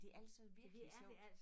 Det altså virkelig sjovt